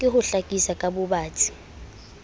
ke ho hlakisa ka bobatsi